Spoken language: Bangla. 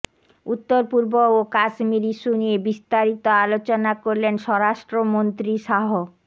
উত্তর পূর্ব ও কাশ্মীর ইস্যু নিয়ে বিস্তারিত আলোচনা করলেন স্বরাষ্ট্ৰমন্ত্ৰী শাহ